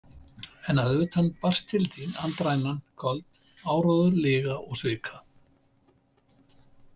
En utan að barst til þín andrænan köld: áróður lyga og svika.